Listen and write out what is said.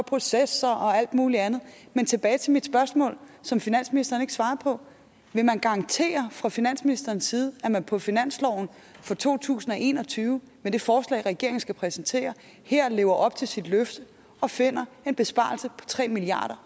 processer og alt muligt andet men tilbage til mit spørgsmål som finansministeren ikke svarede på vil man garantere fra finansministerens side at man på finansloven for to tusind og en og tyve med det forslag regeringen skal præsentere her lever op til sit løfte og finder en besparelse på tre milliard